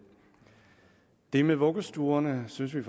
det med vuggestuerne synes vi